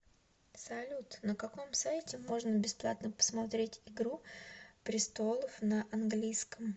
салют на каком сайте можно бесплатно посмотреть игру престолов на английском